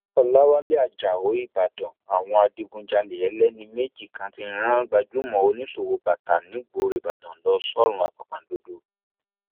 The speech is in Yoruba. bẹẹ ló sì ṣe tí wọn gba mílíọnù kan àti ẹgbẹrún ẹgbẹrún lọnà ọọdúnrún àti mẹwàá náírà lọwọ rẹ